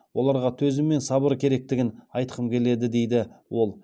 оларға төзім мен сабыр керектігін айтқым келеді дейді ол